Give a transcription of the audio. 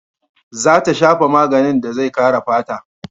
Za ta shafa maganin da zai kare fata.